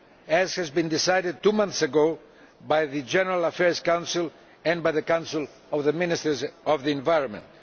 as was decided two months ago by the General Affairs Council and by the Council of the Ministers of the Environment.